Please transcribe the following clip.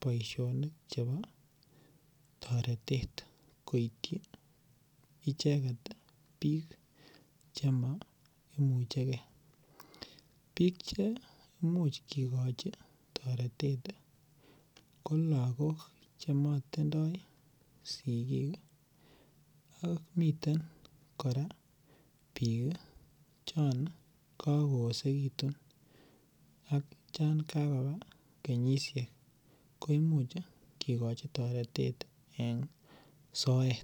boisionik chebo toretet koityi icheget biik chema imuchege. Biik chemuch kigoi toretet ko lagok chematindoi sigik, ak miten kora biik chon kakoesegitun ak chon kakoba kenyisiek ko imuch kigochi toretet en soet.